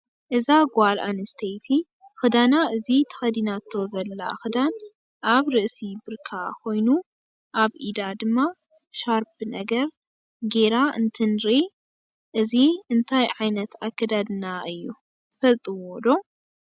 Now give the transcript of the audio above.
እዛ ጋል ኣንስተይቲ ከዳና እዚ ተክድናቶ ዘላ ክዳን ኣብ ርእሲ ብርካ ከይኑ ኣብ ኢዳ ድ ማ ሻርብ ነገር ገይራ እንትንርኢ እዚ እንታይ ዓይነት ኣከዳድና እየ ትፍልጥዎዶ?